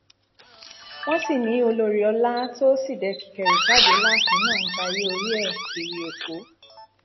wọn sì ni olórí ọlá tó síde kíkẹrù jáde láàfin náà ń jayé orí ẹ kiri èkó